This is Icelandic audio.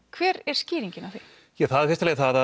hver er skýringin á því í fyrsta lagi það